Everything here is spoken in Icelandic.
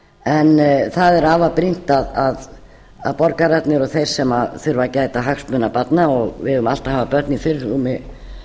en það er afar brýnt að borgararnir og þeir sem þurfa að gæta hagsmuna barna og við eigum alltaf að hafa börn í